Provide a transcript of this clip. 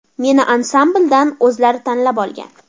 Meni ansambldan o‘zlari tanlab olgan.